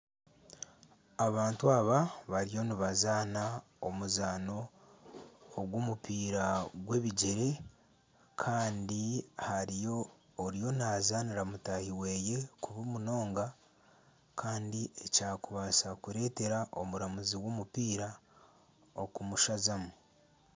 Abantu aba bariyo nibazaana omuzaano ogw'omupiira gw'ebigyere Kandi hariyo oriyo nazaanira mutahi weye kubi munonga Kandi ekyakubaasa kuretera omubazi w'omupiira okumusazamu.